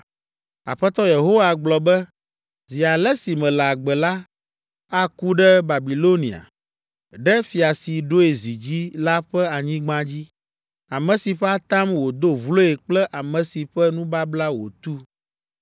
“Aƒetɔ Yehowa gblɔ be, ‘Zi ale si mele agbe la, aku ɖe Babilonia, ɖe fia si ɖoe zi dzi la ƒe anyigba dzi, ame si ƒe atam wòdo vloe kple ame si ƒe nubabla wòtu.